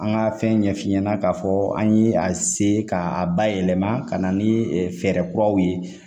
An ka fɛn ɲɛ f'i ɲɛna k'a fɔ an ye a se ka a bayɛlɛma ka na ni fɛɛrɛ kuraw ye.